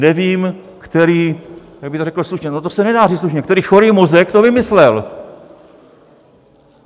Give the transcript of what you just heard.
Nevím, který - jak bych to řekl slušně, no to se nedá říct slušně - který chorý mozek to vymyslel!